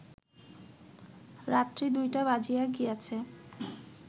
রাত্রি ২টা বাজিয়া গিয়াছে